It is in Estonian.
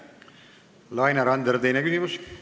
Laine Randjärv, teine küsimus!